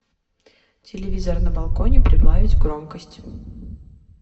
телевизор на балконе прибавить громкость